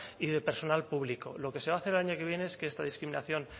y de personal público lo que se va a hacer el año que viene es que esta discriminación